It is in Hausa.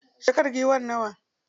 Shekarar giwar nawa?